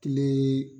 Kile